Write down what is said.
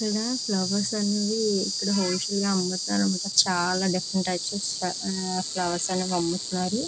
ఇక్కడ ఫ్లవర్స్ ఇక్కడ wholesale గ అమ్ముతారు అనమాట .చాలా డిఫరెంట్ టైప్స్ ఆఫ్ ఫ్లవర్స్ ని అమ్ముతున్నారు.